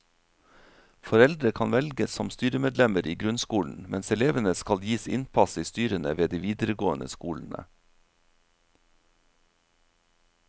Foreldre kan velges som styremedlemmer i grunnskolen, mens elevene skal gis innpass i styrene ved de videregående skolene.